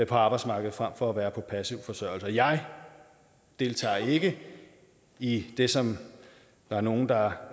arbejdsmarkedet frem for at være på passiv forsørgelse jeg deltager ikke i det som der er nogle der